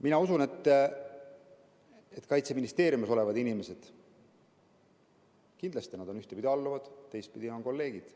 Mina usun, et Kaitseministeeriumis olevad inimesed on kindlasti ühtpidi alluvad, teistpidi kolleegid.